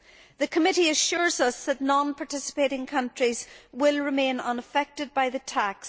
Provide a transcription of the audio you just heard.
The committee assures us that non participating countries will remain unaffected by the tax.